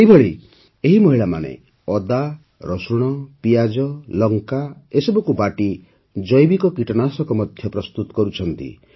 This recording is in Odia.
ସେହିଭଳି ଏହି ମହିଳାମାନେ ଅଦା ରସୁଣ ପିଆଜ ଓ ଲଙ୍କା ବାଟି ଜୈବିକ କୀଟନାଶକ ମଧ୍ୟ ପ୍ରସ୍ତୁତ କରୁଛନ୍ତି